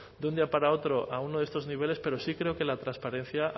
de un día para otro a uno de estos niveles pero sí creo que la transparencia